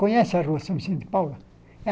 Conhece a rua São Vicente de Paula?